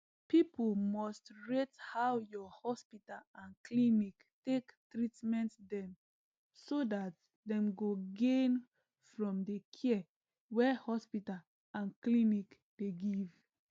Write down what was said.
people must rate how your hospital or clinic take treatment them so that dem go gain from the care wey hospital and clinic dey give